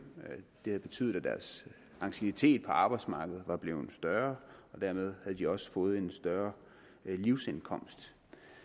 det havde betydet at deres anciennitet på arbejdsmarkedet var blevet større og dermed havde de også fået en større livsindkomst